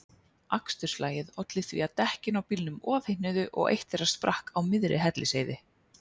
Aksturslagið olli því að dekkin á bílnum ofhitnuðu og eitt þeirra sprakk á miðri Hellisheiði.